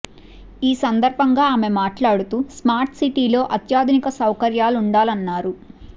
ఈ సందర్భంగా ఆమె మాట్లాడుతూ స్మార్ట్ సిటీలో అత్యాధునిక సౌకర్యాలు ఉండాలన్నారు